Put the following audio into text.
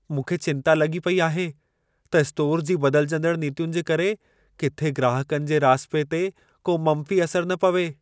मूंखे चिंता लॻी पेई आहे त स्टोर जी बदिलिजंदड़ नीतियुनि जे करे किथे ग्राहकनि जे राज़िपे ते को मंफ़ी असरु न पवे।